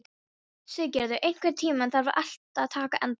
Siggerður, einhvern tímann þarf allt að taka enda.